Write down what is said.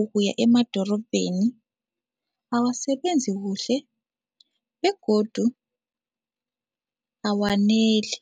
ukuya emadorobheni awasasebenzi kuhle begodu awaneli.